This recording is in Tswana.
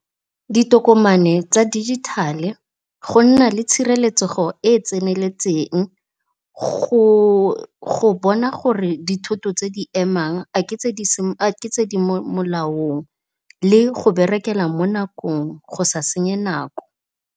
Ditokomane tsa dijithale, go nna le tshireletsego e e tseneletseng, go bona gore dithoto tse di emang a ke tse di mo molaong le go berekela mo nakong, go sa senye nako.